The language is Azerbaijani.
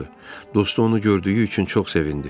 Dostu onu gördüyü üçün çox sevindi.